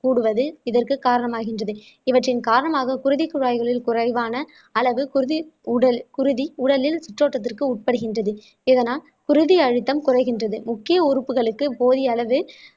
கூடுவது இதற்குக் காரணம் ஆகின்றது இவற்றின் காரணமாக குருதிக் குழாய்களில் குறைவான அல்லது குருதி உடல் குருதி உடலில் சுற்றோட்டத்திற்கு உட்படுகின்றது இதனால் குருதி அழுத்தம் குறைகின்றது முக்கிய உறுப்புகளுக்கு போதிய அளவு